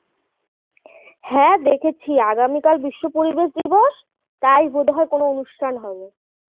হ্যাঁ দেখেছি আগামীকাল বিশ্ব পরিবেশ দিবস তাই বোধ হয় কোনও অনুষ্ঠান হবে